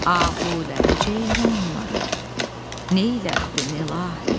ahuları, ceyranları neylərdin, ilahi?